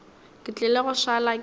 ke tlile go šala ke